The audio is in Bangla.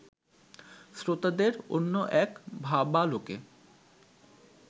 শ্রোতাদের অন্য এক ভাবালোকে